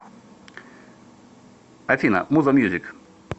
афина муза мьюзик